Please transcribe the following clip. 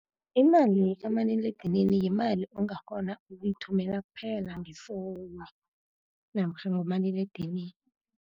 Imali kamaliledinini yimali ongakghona ukuyithumela kuphela ngefowunu, namkha ngomaliledinini.